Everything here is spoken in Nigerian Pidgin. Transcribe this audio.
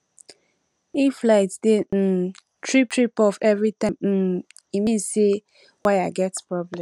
if light dey um trip trip off every time um e mean say wire get problem